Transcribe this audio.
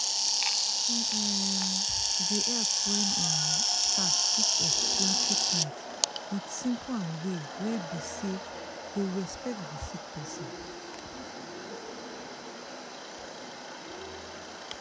e um dey help wen um staff fit explain treatments with simple and way wey be say go respect the sick person.